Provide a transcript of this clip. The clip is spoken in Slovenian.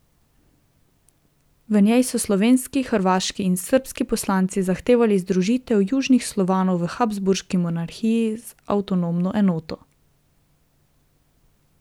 V njej so slovenski, hrvaški in srbski poslanci zahtevali združitev Južnih Slovanov v Habsburški monarhiji v avtonomno enoto.